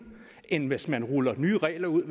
end hvis man ruller nye regler ud